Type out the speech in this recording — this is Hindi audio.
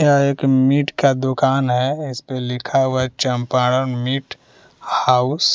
यह एक मीट का दुकान है इस पे लिखा हुआ है चंपारण मीट हाउस --